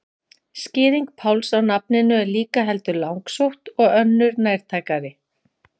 Skýring Páls á nafninu er líka heldur langsótt og önnur nærtækari.